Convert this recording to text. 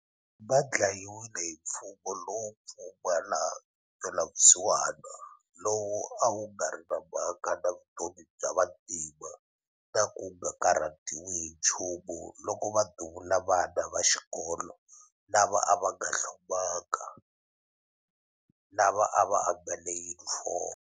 Va dlayiwile hi mfumo lowo pfumala ntwelavusiwana lowu a wu nga ri na mhaka na vutomi bya vantima na ku nga karhatiwi hi nchumu loko va duvula vana va xikolo lava a va nga hlomangi, lava a va ambale yunifomo.